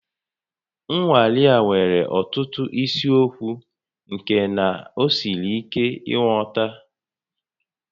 Nnwale a nwere ọtụtụ isiokwu nke na ọ siri ike nghọta